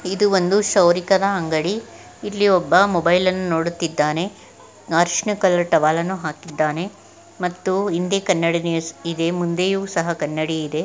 ಇದು ಒಂದು ಕ್ಷೌರಿಕನ ಅಂಗಡಿ ಇಲ್ಲಿ ಒಬ್ಬ ಮೊಬೈಲ್ ಅನ್ನು ನೋಡಿತಿದ್ದಾನೆ ಅರಶಿನ ಕಲರ್ ಟವಲ್ ಅನ್ನು ಹಾಕಿದ್ದಾನೆ ಮತ್ತು ಹಿಂದೆ ಕನ್ನಡಿ ಇದೆ ಮುಂದೆಯು ಸಹ ಕನ್ನಡಿ ಇದೆ .